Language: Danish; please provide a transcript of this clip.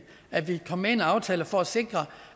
at vi kom med i en aftale for at sikre